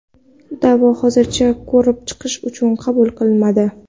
Da’vo hozircha ko‘rib chiqish uchun qabul qilinmadi.